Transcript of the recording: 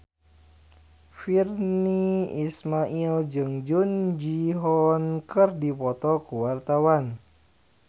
Virnie Ismail jeung Jung Ji Hoon keur dipoto ku wartawan